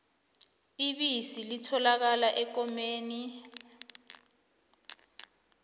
ibisi litholakala ekomeni